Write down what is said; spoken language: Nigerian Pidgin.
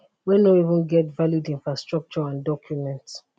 wey no even get valid infrastructure and document